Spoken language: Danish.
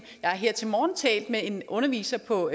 jeg har her til morgen talt med en underviser på